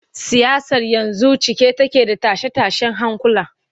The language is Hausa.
Siyasar yanzu cike take da tashe-tashen hankula.